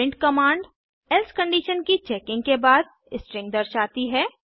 print command else condition की checking के बाद स्ट्रिंग दर्शाती है